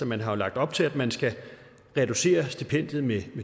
man har jo lagt op til at man skal reducere stipendiet med